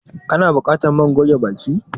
Ka na buƙatar man goge baki?